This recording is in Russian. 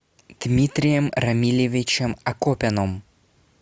дмитрием рамилевичем акопяном